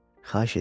Xahiş edirəm.